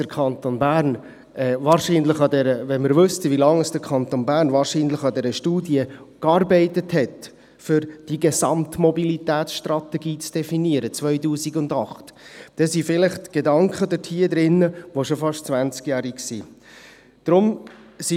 Wenn wir wüssten, wie lange der Kanton Bern wahrscheinlich an dieser Studie gearbeitet hat, um diese Gesamtmobilitätsstudie 2008 zu definieren, dann sind vielleicht Gedanken darin enthalten, die schon fast zwanzig Jahre alt sind.